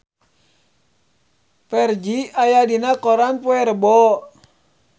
Ferdge aya dina koran poe Rebo